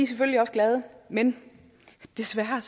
selvfølgelig også glade men desværre er